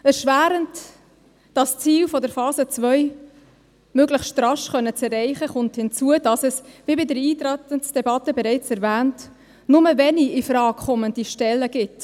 Obwohl das Ziel der Phase 2 möglichst rasch erreicht werden soll, kommt erschwerend hinzu, dass es – wie in der Eintretensdebatte bereits erwähnt – nur wenig infrage kommende Stellen gibt.